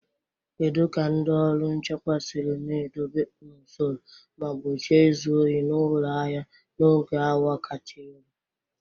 Kedu ka ndị ọrụ nchekwa siri na-edobe n'usoro ma gbochie izu ohi na ụlọ ahịa n'oge awa kacha elu?